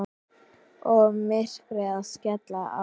Og myrkrið að skella á.